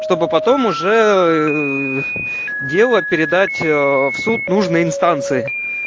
чтобы потом уже дело передать в суд нужной инстанции